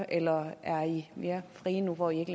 eller er i mere frie nu hvor i ikke